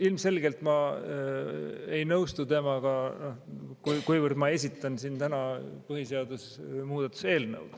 Ilmselgelt ma ei nõustu temaga, kui ma esitlen siin täna põhiseaduse muutmise eelnõu.